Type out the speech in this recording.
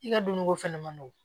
I ka dumuni ko fɛnɛ ma nɔgɔn